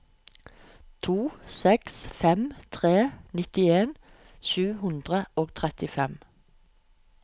to seks fem tre nittien sju hundre og trettifem